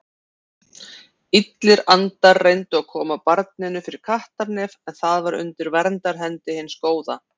Illir andar reyndu að koma barninu fyrir kattarnef en það var undir verndarhendi hins góða.